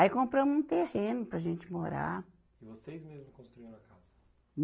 Aí compramos um terreno para a gente morar. E vocês mesmo construíram a casa